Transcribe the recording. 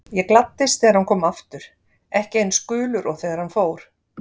Ég gladdist þegar hann kom aftur, ekki eins gulur og þegar hann fór.